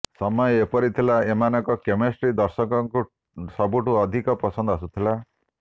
ସମୟ ଏପରି ଥିଲା ଏମାନଙ୍କ କେମେଷ୍ଟ୍ରି ଦର୍ଶକଙ୍କୁ ସବୁଠୁ ଅଧିକ ପସନ୍ଦ ଆସୁଥିଲା